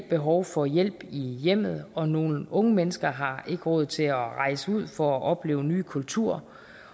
behov for hjælp i hjemmet og nogle unge mennesker har ikke råd til at rejse ud for at opleve nye kulturer